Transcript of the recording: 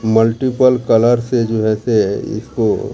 multiple colour से जो है से इसको--